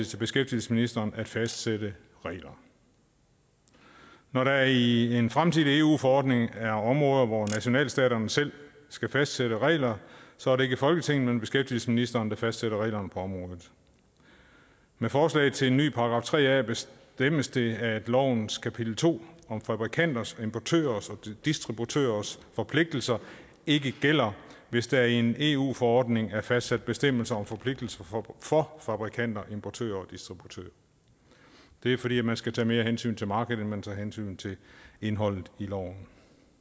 til beskæftigelsesministeren at fastsætte regler når der i en fremtidig eu forordning er områder hvor nationalstaterne selv skal fastsætte regler så er det ikke folketinget men beskæftigelsesministeren der fastsætter reglerne på området med forslaget til en ny § tre a bestemmes det at lovens kapitel to om fabrikanters importørers og distributørers forpligtelser ikke gælder hvis der i en eu forordning er fastsat bestemmelser om forpligtelser for fabrikanter importører og distributører det er fordi man skal tage mere hensyn til markedet end man tager hensyn til indholdet i loven